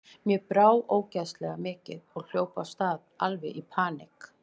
Mér brá ógeðslega mikið og hljóp af stað, alveg í paník.